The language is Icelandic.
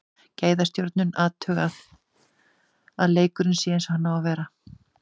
Gæðastjórnun, athugað að leikurinn sé eins og hann á að vera.